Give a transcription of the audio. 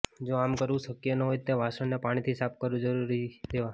જો આમ કરવું શક્ય ન હોય તે વાસણને પાણીથી સાફ જરૂરથી કરી દેવા